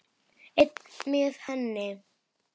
Einn með henni.